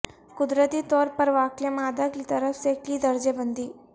قدرتی طور پر واقع مادہ کی طرف سے کی درجہ بندی